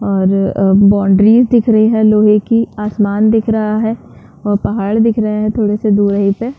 और बॉउंड्रीस दिख रही है लोहे की आसमान दिख रहा है और पहाड़ दिख रहे है थोड़े से दूर यही पर।